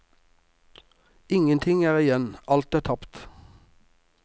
Ingenting er igjen, alt er tapt!